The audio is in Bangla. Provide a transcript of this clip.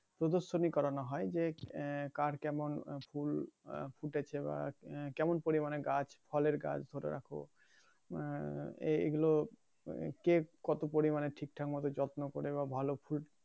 প্রদর্শনী করানো হয় যে আহ কার কেমন ফুল ফুটেছে বা কেমন পরিমানে গাছ ফলের গাছ ধরে রাখো আহ এই এগুলো কে কত পরিমানে ঠিকঠাক মতো যত্ন করে বা ভালো ফুল